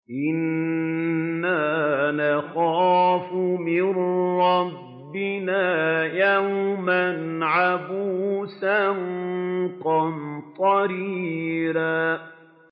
إِنَّا نَخَافُ مِن رَّبِّنَا يَوْمًا عَبُوسًا قَمْطَرِيرًا